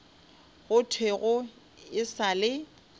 go thwego e sa le